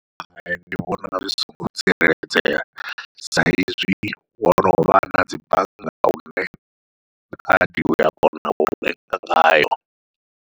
Hai ndi vhona zwi songo tsireledzea sa izwi ho novha nadzi bannga hune khadi ua kona u renga ngayo.